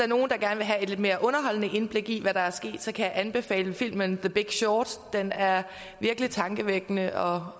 nogen der gerne vil have et lidt mere underholdende indblik i hvad der er sket kan jeg anbefale filmen the big short den er virkelig tankevækkende og